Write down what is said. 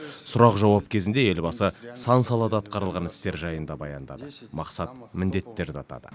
сұрақ жауап кезінде елбасы сан салада атқарылған істер жайында баяндады мақсат міндеттерді атады